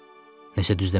Nəsə düz demədim?